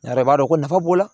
Ne yɛrɛ b'a dɔn ko nafa b'o la